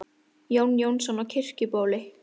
Jón Jónsson á Kirkjubóli